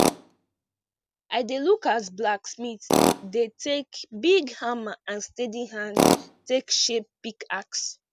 i dey look as blacksmith dey take big hammer and steady hand take shape pickaxe